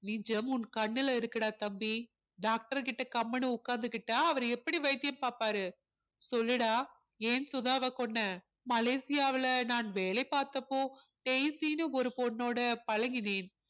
நிஜம் உன் கண்ணுல இருக்குடா தம்பி doctor கிட்ட கம்முனு உட்கார்ந்துக்கிட்டா அவர் எப்படி வைத்தியம் பார்ப்பாரு சொல்லுடா ஏன் சுதாவை கொன்ன மலேசியாவுல நான் வேலை பார்த்தப்போ டெய்ஷ்சின்னு ஒரு பொண்ணோட பழகினேன்